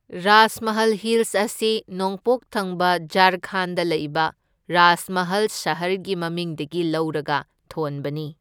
Rajmahal hills ꯑꯁꯤ ꯅꯣꯡꯄꯣꯛ ꯊꯪꯕ ꯓꯥꯔꯈꯟꯗꯗ ꯂꯩꯕ ꯔꯥꯖꯃꯍꯜ ꯁꯍꯔꯒꯤ ꯃꯃꯤꯡꯗꯒꯤ ꯂꯧꯔꯒ ꯊꯣꯟꯕꯅꯤ꯫